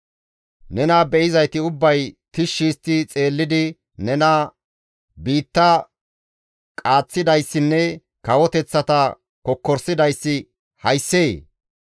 Nena be7izayti ubbay tishshi histti xeellidi nena, «Biitta qaaththidayssinne kawoteththata kokkorisidayssi hayssee?